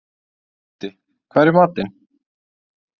Otti, hvað er í matinn?